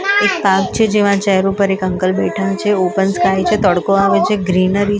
એક પાર્ક છે જેમા ચેર્સ ઉપર એક અંકલ બેઠા છે ઓપન સ્કાય છે તડકો આવે છે ગ્રીનરી છે --